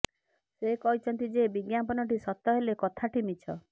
ସେ କହିଛନ୍ତି ଯେ ବିଜ୍ଞାପନଟି ସତ ହେଲେ କଥାଟି ମିଛ